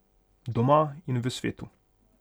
Doma in v svetu.